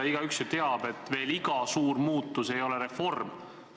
Igaüks ju teab, et iga suur muutus ei pruugi reform olla.